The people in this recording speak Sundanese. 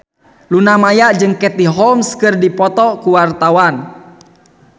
Luna Maya jeung Katie Holmes keur dipoto ku wartawan